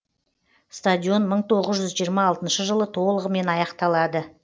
стадион мың тоғыз жүз жиырма алтыншы жылы толығымен аяқталады